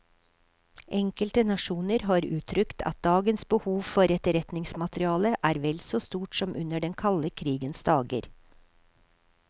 Enkelte nasjoner har uttrykt at dagens behov for etterretningsmateriale er vel så stort som under den kalde krigens dager.